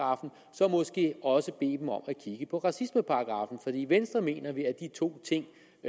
så måske også bede dem om at kigge på racismeparagraffen for i venstre mener vi at de to ting